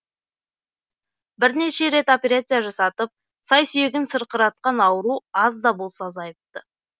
бірнеше рет операция жасатып сай сүйегін сырқыратқан ауру аз да болса азайыпты